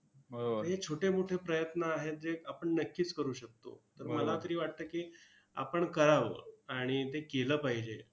हे छोटे मोठे प्रयत्न आहेत, जे आपण नक्कीच करू शकतो. तर मला तरी वाटतं की, आपण कळावं, आणि ते केलं पाहिजे.